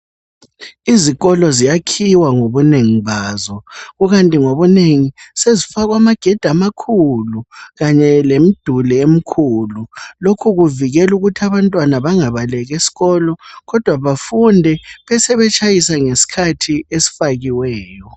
Izikolo ziyakhiwa ngobunengi bazo, kukanti ngobunengi, sezifakwa amagedi amakhulu kanye lemiduli emikhulu, lokhu kuvikela ukuthi abantwana bangabaleki esikolo kodwa bafunde besebetshayisa ngesikhathi esifakiweyo.